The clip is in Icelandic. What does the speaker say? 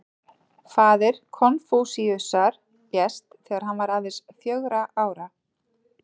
Faðir Konfúsíusar lést þegar hann var aðeins fjögurra ára.